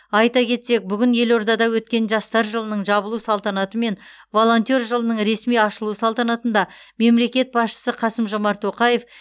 айта кетсек бүгін елордада өткен жастар жылының жабылу салтанаты мен волонтер жылының ресми ашылуы салтанатында мемлекет басшысы қасым жомарт тоқаев